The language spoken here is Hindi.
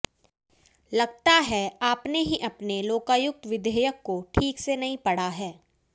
लगता है आपने ही अपने लोकायुक्त विधेयक को ठीक से नहीं पढ़ा है